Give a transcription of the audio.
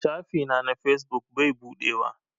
Shafi na na fesbuk bai buɗewa.